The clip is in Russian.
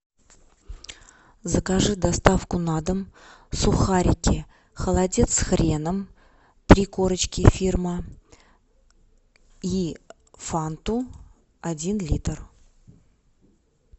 закажи доставку на дом сухарики холодец с хреном три корочки фирма и фанту один литр